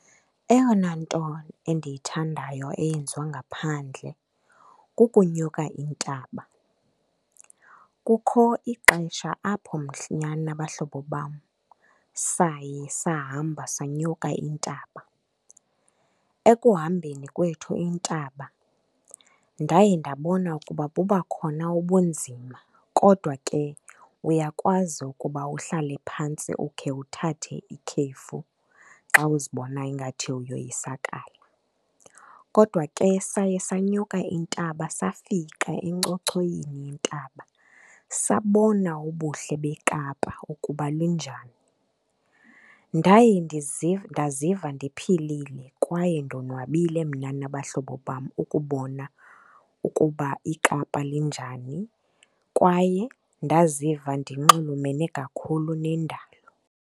Eyona nto endiyithandayo eyenziwa ngaphandle kukunyuka intaba. Kukho ixesha apho mna nabahlobo bam saye sahamba sanyuka intaba. Ekuhambeni kwethu intaba, ndaye ndabona ukuba buba khona ubunzima kodwa ke uyakwazi ukuba uhlale phantsi ukhe uthathe ikhefu xa uzibonayo ingathi uyoyisakala. Kodwa ke saye sanyuka intaba safika enkcochoyini yentaba sabona ubuhle beKapa ukuba linjani. Ndaye ndaziva ndiphilile kwaye ndonwabile mna nabahlobo bam ukubona ukuba iKapa linjani kwaye ndaziva ndinxulumane kakhulu nendalo.